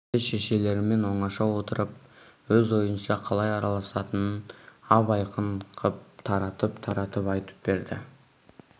енді шешелерімен оңаша отырып өз ойынша қалай араласатынын ап-айқын қып таратып-таратып айтып берді